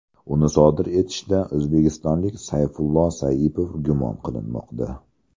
Uni sodir etishda o‘zbekistonlik Sayfullo Saipov gumon qilinmoqda .